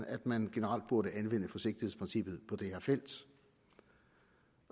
at man generelt burde anvende forsigtighedsprincippet på det her felt